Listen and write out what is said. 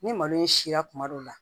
Ni malo in si la kuma dɔ la